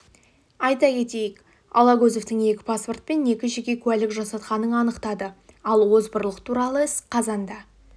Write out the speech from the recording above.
айта кетейік алагөзовтың екі паспорт пен екі жеке куәлік жасатқанын анықтады ал озбырлық туралы іс қазанда